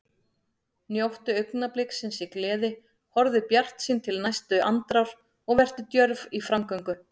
Njóttu augnabliksins í gleði, horfðu bjartsýn til næstu andrár og vertu djörf í framgöngu.